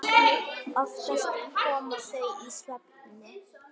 Oftast komu þau í svefni.